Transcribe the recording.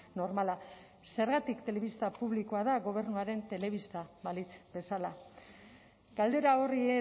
normala zergatik telebista publikoa da gobernuaren telebista balitz bezala galdera horri